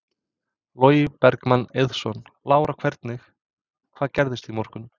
Logi Bergmann Eiðsson: Lára hvernig, hvað gerðist í morgun?